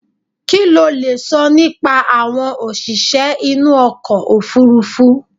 Kí lo lè sọ nípa àwọn òṣìṣẹ́ inú okọ̀ òfurufú?